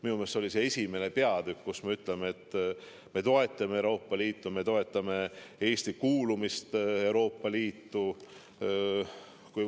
Minu meelest oli see esimene peatükk, kus me ütleme, et me toetame Euroopa Liitu, me toetame Eesti kuulumist Euroopa Liitu.